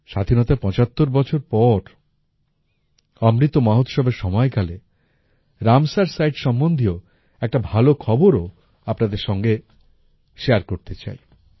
স্বাধীনতার ৭৫ বছর পর অমৃত মহোৎসবের সময়কালে রামসার সাইটস সম্বন্ধীয় একটা ভালো খবরও আপনাদের সঙ্গে শেয়ার করতে চাই